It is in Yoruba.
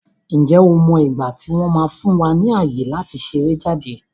Ǹjẹ́ o mọ igbati wọn máa fún wa ní ayé láti ṣeré jáde?